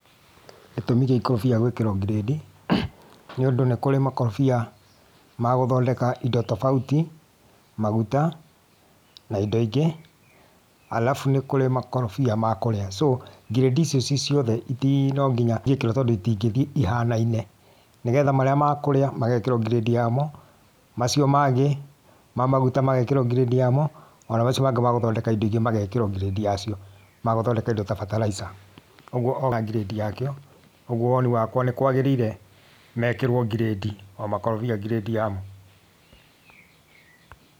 Gĩtũmi gĩa ikorobia gwĩkĩrwo grade nĩ ũndũ nĩkũrĩ makorobia ma gũthondeka indo tofauti ;maguta, na indo ingĩ. arabu nĩkũrĩ makorobia ma kũrĩa. So, grade icio ciĩ ciothe iti no nginya ingĩkĩrwo tondũ itingĩthiĩ ihanaine; ni getha marĩa ma kũrĩa magekĩrwo grade ya mo, macio mangĩ ma maguta magekĩrwo grade yamo, ona macio mangĩ ma gũthondeka indo ingĩ magekĩrwo grade yacio; ma gũthondeka indo ta bataraitha. Ũguo na grade yakĩo, ũguo woni wakwa nĩkwagĩrĩire mekirwo grade, o makorobia na grade yamo.